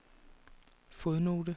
fodnote